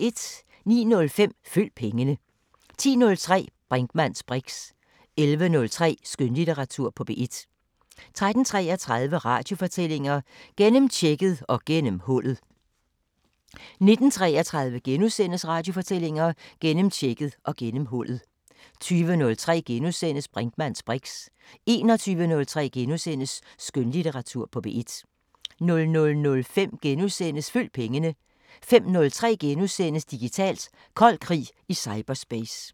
09:05: Følg pengene 10:03: Brinkmanns briks 11:03: Skønlitteratur på P1 13:33: Radiofortællinger: Gennemtjekket og gennemhullet 19:33: Radiofortællinger: Gennemtjekket og gennemhullet * 20:03: Brinkmanns briks * 21:03: Skønlitteratur på P1 * 00:05: Følg pengene * 05:03: Digitalt: Kold krig i cyberspace *